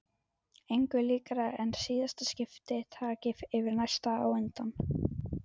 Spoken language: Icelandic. Engu líkara en síðasta skipti taki yfir næsta á undan.